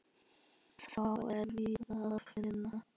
Þá er víða að finna.